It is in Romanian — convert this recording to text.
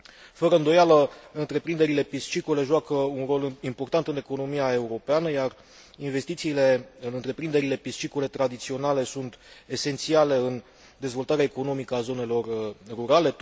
Fără îndoială, întreprinderile piscicole joacă un rol important în economia europeană, iar investițiile în întreprinderile piscicole tradiționale sunt esențiale în dezvoltarea economică a zonelor rurale.